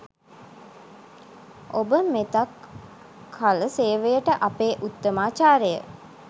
ඔබ මෙතක් කල සේවයට අපේ උත්තමාචාරය